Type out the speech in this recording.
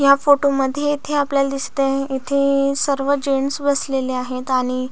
या फोटो मध्ये येथे आपल्याला दिसत आहे येथे सर्व जेंटस बसलेले आहेत आणि--